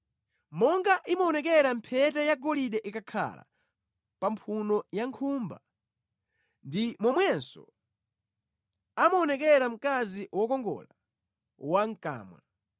Monga imaonekera mphete yagolide ikakhala pa mphuno ya nkhumba, ndi momwenso amaonekera mkazi wokongola wamʼkamwa.